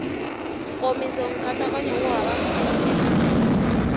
nkomiso nkatsakanyo wu hava nkhulukelano